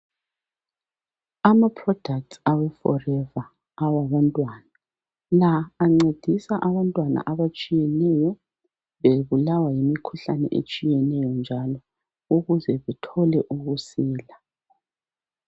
Ama product awe forever awabantwana la ancedisa abantwana abatshiyeneyo bebulawa yimikhuhlane etshiyeneyo njalo ukuze bethole ukusila.